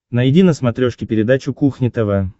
найди на смотрешке передачу кухня тв